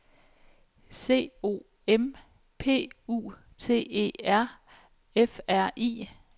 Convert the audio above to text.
C O M P U T E R F R I